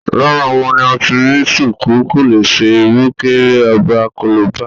Lára wọn ni a ti rí ṣùkú, kòlẹ́sẹ̀, ìrùkẹ̀rẹ̀ ọba, kolobá